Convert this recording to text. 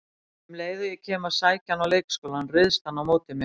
Um leið og ég kem að sækja hann í leikskólann, ryðst hann á móti mér